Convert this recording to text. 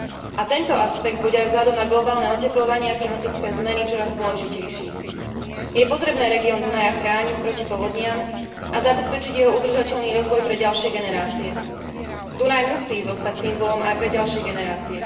A tento aspekt bude aj vzhľadom na globálne otepľovanie a klimatické zmeny čoraz dôležitejší. Je potrebné región Dunaja chrániť proti povodniam a zabezpečiť jeho udržateľný rozvoj pre ďalšie generácie. Dunaj musí zostať symbolom aj pre ďalšie generácie.